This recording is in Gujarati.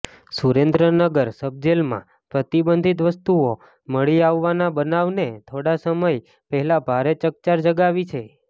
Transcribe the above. સુરેન્દ્રનગર સબજેલમાં પ્રતિબંધીત વસ્તુઓ મળી આવવાના બનાવને થોડા સમય પહેલા ભારે ચકચાર જગાવી છે